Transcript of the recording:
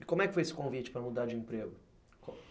E como é que foi esse convite para mudar de emprego?